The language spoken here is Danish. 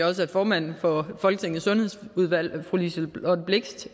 også at formanden for folketingets sundhedsudvalg fru liselott blixt